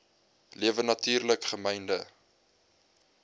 lewe natuurlik gemynde